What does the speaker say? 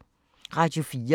Radio 4